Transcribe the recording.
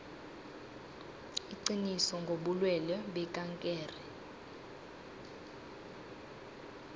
iqiniso ngobulwelwe bekankere